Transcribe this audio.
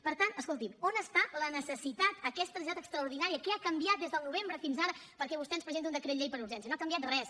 per tant escolti’m on està la necessitat aquesta necessitat extraordinària què ha canviat des del novembre fins ara perquè vostè ens presenti un decret llei per urgència no ha canviat res